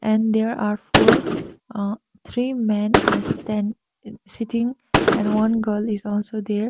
and there are four uh three men are stand sitting and one girl is also there.